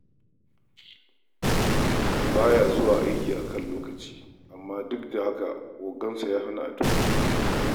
Ba ya zuwa aiki a kan lokaci, amma duk da haka ogansa ya hana a tuhume shi.